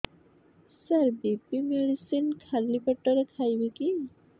ସାର BP medicine ଖାଲି ପେଟରେ ଖାଇବି କି